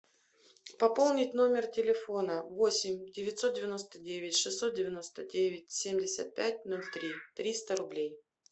пополнить номер телефона восемь девятьсот девяносто девять шестьсот девяносто девять семьдесят пять ноль три триста рублей